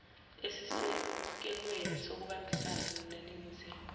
esisekelweni sokubambisana weningizimu